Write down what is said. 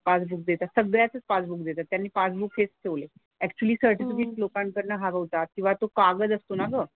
Passbook देतात. सगळ्याचंच passbook देतात. त्यांनी पासबुक हेच ठेवलंय. ऍक्चुअली सर्टिफिकेट लोकांकडनं हरवतात किंवा तो कागद असतो ना ग,